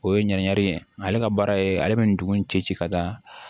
O ye ɲɛnamini ye ale ka baara ye ale bɛ nin dugu in cɛ ci ka da